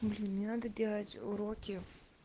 ну блин мне надо делать уроки